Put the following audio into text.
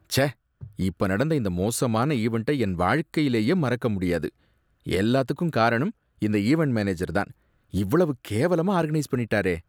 ச்சே! இப்ப நடந்த இந்த மோசமான ஈவண்ட்ட என் வாழ்க்கையிலயே மறக்க முடியாது, எல்லாத்துக்கும் காரணம் இந்த ஈவண்ட் மேனேஜர் தான். இவ்வளவு கேவலமா ஆர்கனைஸ் பண்ணிட்டாரே!